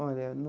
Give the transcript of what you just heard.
Olha, no...